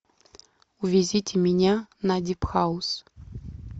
увезите меня на дипхаус